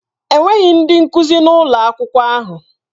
Enweghị ndị nkuzi na ụlọ akwụkwọ ahụ.